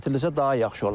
Gətirilsə daha yaxşı olar.